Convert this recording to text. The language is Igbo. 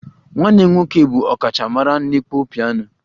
Nwanne m nwoke bụ ọkachamara n'ịkpọ peano